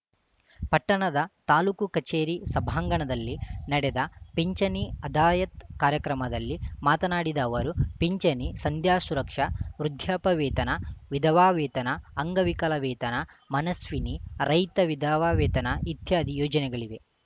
ಪಟ್ಟಣದ ತಾಲೂಕು ಕಚೇರಿ ಸಭಾಂಗಣದಲ್ಲಿ ನಡೆದ ಪಿಂಚಣಿ ಅದಾಯತ್‌ ಕಾರ್ಯಕ್ರಮದಲ್ಲಿ ಮಾತನಾಡಿದ ಅವರು ಪಿಂಚಣಿ ಸಂಧ್ಯಾ ಸುರಕ್ಷಾ ವೃದ್ಯಾಪ್ಯವೇತನ ವಿಧವಾ ವೇತನ ಅಂಗವಿಕಲ ವೇತನ ಮನಸ್ವಿನಿ ರೈತ ವಿಧವಾ ವೇತನ ಇತ್ಯಾದಿ ಯೋಜನೆಗಳಿವೆ